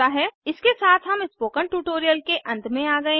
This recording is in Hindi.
इसके साथ हम स्पोकन ट्यूटोरियल के अंत में आ गए हैं